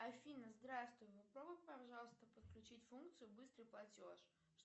афина здравствуй попробуй пожалуйста подключить функцию быстрый платеж